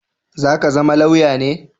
Za ka zama lauya ne?